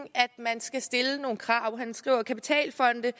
man skal stille nogle krav han skriver kapitalfonde